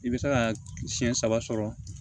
I bɛ se ka siyɛn saba sɔrɔ